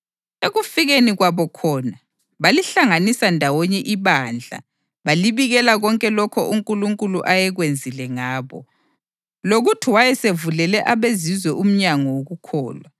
Ekufikeni kwabo khona, balihlanganisa ndawonye ibandla balibikela konke lokho uNkulunkulu ayekwenzile ngabo, lokuthi wayesevulele abeZizwe umnyango wokukholwa.